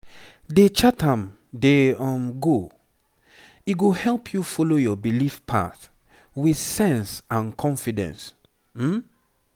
dey chart am dey um go. e go help you follow your belief path with sense and confidence. um